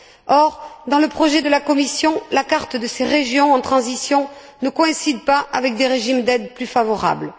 Or, dans le projet de la Commission, la carte de ces régions en transition ne coïncide pas avec des régimes d'aides plus favorables.